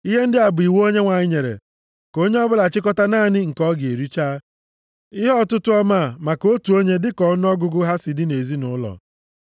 Ihe ndị a bụ iwu Onyenwe anyị nyere, ‘Ka onye ọbụla chịkọta naanị nke ọ ga-ericha. Ihe ọtụtụ ọmaa + 16:16 Ya bụ ihe ruru otu kilogram na ụma anọ maka otu onye dịka ọnụọgụgụ ha si dị nʼezinaụlọ.’ ”